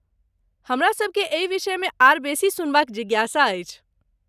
हमरा सभकेँ एहि विषयमे आर बेसी सुनबाक जिज्ञासा अछि।